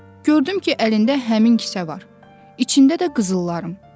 Gördüm ki, əlində həmin kisə var, içində də qızıllarım.